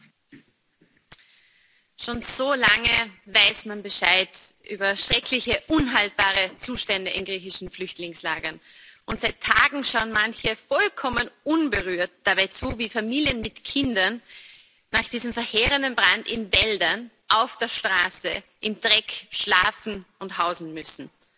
Frau Präsidentin! Schon so lange weiß man Bescheid über schreckliche unhaltbare Zustände in griechischen Flüchtlingslagern, und seit Tagen schauen manche vollkommen ungerührt dabei zu, wie Familien mit Kindern nach diesem verheerenden Brand in Wäldern, auf der Straße, im Dreck schlafen und hausen müssen.